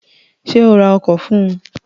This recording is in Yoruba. Sé o ra ọkọ̀ fún un?